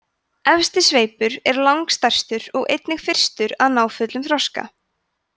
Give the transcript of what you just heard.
efsti sveipur er langstærstur og einnig fyrstur að ná fullum þroska